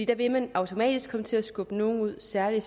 da vil man automatisk komme til at skubbe nogle ud særlig